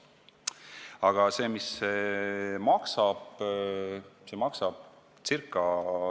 Aga mis see maksab?